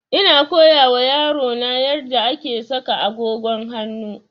Ina koya wa yaro na yarda ake saka agogon hanu